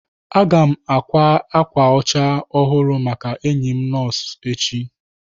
Aga m ákwá ákwà ọcha ọhụrụ maka enyi m nọọsụ echi.